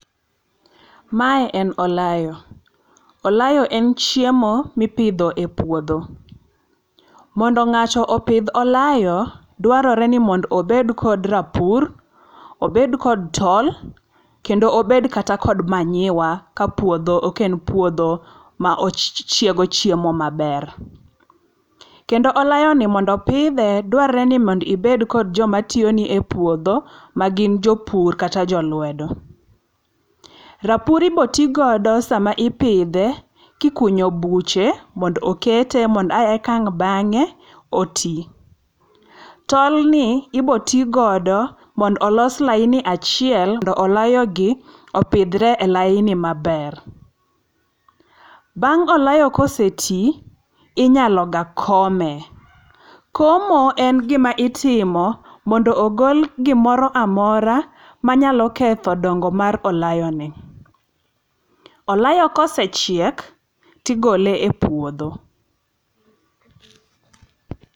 Mae en olayo, olayo en chiemo mipidho e puodho . Mondo ng'ato opidh olayo, dwarore ni mondo obed kod rapur, obed kod tol, kendo obed kata kod manyiwa kapuodho ok en puodho ma ochiego chiemo maber. Kendo olayoni mondo pidhe, dwarre ni mondo ibed kod joma tiyoni e puodho, ma gin jopur kata jolwedo. Rapur ibotigodo sama ipidhe, kikunyo buche mondo okete mondo ekang' bang'e, oti. Tolni ibotigodo mondo olos lain achiel mondo olayogi opidhre e laini maber. Bang' olayo koseti, inyalo ga kome. Komo en gima itimo, mondo ogol gimoro amora manyalo ketho dongo mar olayoni. Olayo kosechiek, tigole e puodho.